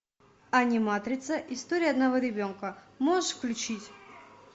аниматрица история одного ребенка можешь включить